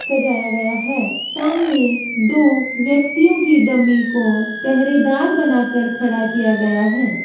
सजाया गया है सामने दो व्यक्तियों की डमी को पहरेदार बना के खड़ा किया गया है।